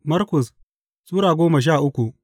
Markus Sura goma sha uku